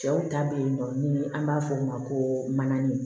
Cɛw ta bɛ yen nɔ ni an b'a fɔ o ma ko mananin